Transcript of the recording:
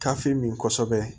Kafi min kosɛbɛ